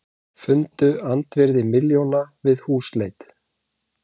Fundu andvirði milljóna við húsleit